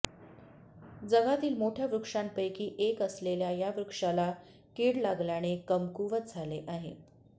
जगातील मोठ्या वृक्षांपैकी एक असलेल्या या वृक्षाला किड लागल्याने कमकुवत झाले आहे